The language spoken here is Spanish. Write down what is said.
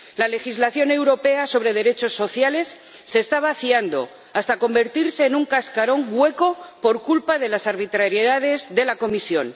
La legislación europea sobre derechos sociales se está vaciando hasta convertirse en un cascarón hueco por culpa de las arbitrariedades de la Comisión.